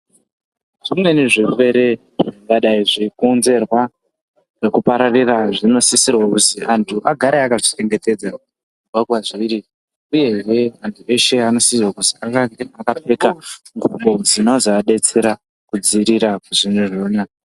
Zvimweni zvirwere zvingadai zveikonzerwa nekupararira zvinosisirwa kuzi antu agare akazvichengetedza kubva kwazviri. Uyehe antu eshe anosisirwa kuzi ange akapfeka ngubo dzinozoadetsera kudzivirira zvinhu zvona.